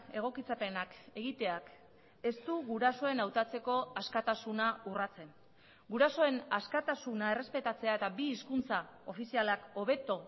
egokitzapenak egiteak ez du gurasoen hautatzeko askatasuna urratzen gurasoen askatasuna errespetatzea eta bi hizkuntza ofizialak hobeto